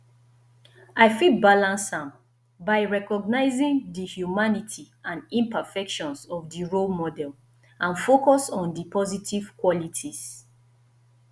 i fit balance am by recognizing di humanity and imperfections of di role model and focus on di positive qualities